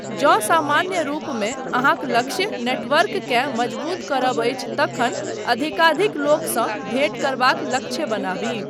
जँ सामान्य रूपमे अहाँक लक्ष्य नेटवर्ककेँ मजबूत करब अछि तखन अधिकाधिक लोकसँ भेँट करबाक लक्ष्य बनाबी।